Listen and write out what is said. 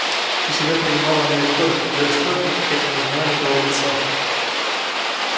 у себя принимала она весь город наблюдая строгий этикет и не узнавая никого в лицо